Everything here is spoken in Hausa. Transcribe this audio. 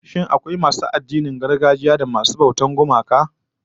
Shin akwai masu addinan gargajiya kuwa a garin nan masu bautar gumaka?